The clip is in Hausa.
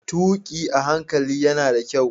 Tuki a hankali yana da kyau.